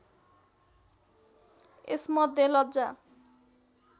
यसमध्ये लज्जा